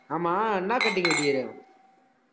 ஆமா, என்னா cutting வெட்டிருக்க